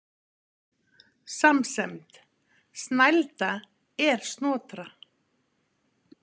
Samsemd: Snælda er Snotra